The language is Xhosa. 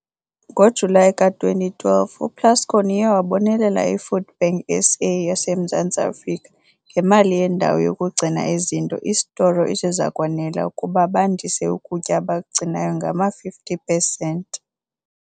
Ngo-Julayi ka-2012, uPlascon uye wabonelela iFoodBank SA, yaseMzantsi Afrika, ngemali yendawo yokugcina izinto isitoro - esiza kwanela ukuba bandies ukutya abakugcinayo ngama-50 pesenti.